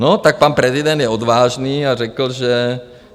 No, tak pan prezident je odvážný a řekl, že...